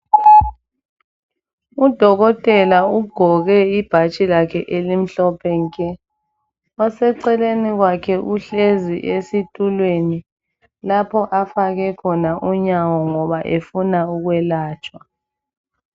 Udokotela ugqoke ibhatshi lakhe elimhlophe nke, oseceleni kwakhe uhlezi esitulweni lapho afake khona unyawo ngoba efuna ukwelatshwa.